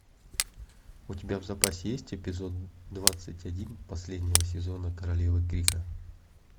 у тебя в запасе есть эпизод двадцать один последнего сезона королевы крика